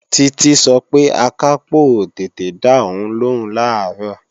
Títí sọ pé Akápò ò tètè dá òun lóhùn làárọ̀